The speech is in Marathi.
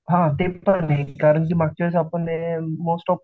हा ते पण आहे, कारण की मागच्या वेळेस हे मोस्ट ऑफ